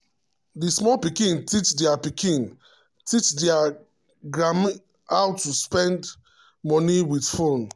the small pikin teach their pikin teach their granny how to send money with phone app.